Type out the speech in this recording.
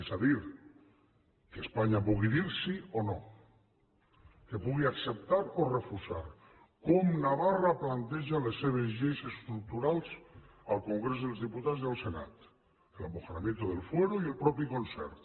és a dir que espanya pugui dir sí o no que pugui acceptar o refusar com navarra planteja les seves lleis estructurals al congrés dels diputats i al senat l’amejoramiento del fuero i el propi concert